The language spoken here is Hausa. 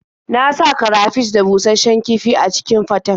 Na sa karafish da bushasshen kifi a cikin faten.